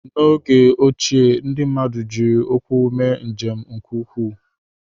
N'oge ochie, ndị mmadụ jiri ụkwụ mee njem nke ukwuu.